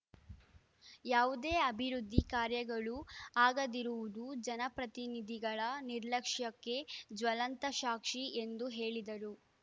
ಯಾವುದೇ ಅಭಿವೃದ್ಧಿ ಕಾರ್ಯಗಳು ಆಗದಿರುವುದು ಜನಪ್ರತಿನಿಧಿಗಳ ನಿರ್ಲಕ್ಷ್ಯಕ್ಕೆ ಜ್ವಲಂತ ಸಾಕ್ಷಿ ಎಂದು ಹೇಳಿದರು